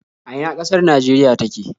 A ina ƙasar Najeriya take